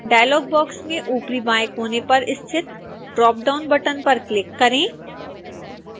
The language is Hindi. डायलॉग बॉक्स में ऊपरी बाएं कोने पर स्थित ड्रापडाउन बटन पर क्लिक करें